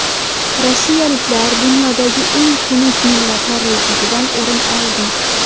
Rossiyaliklar dunyodagi eng xunuk millatlar ro‘yxatidan o‘rin oldi.